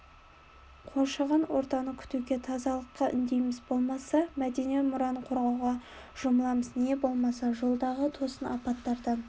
қоршаған ортаны күтуге тазалыққа үндейміз болмаса мәдени мұраны қорғауға жұмыламыз не болмаса жолдағы тосын апаттардан